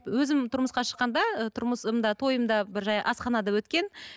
өзім тұрмысқа шыққанда ы тұрмысымда тойымда бір жай асханада өткен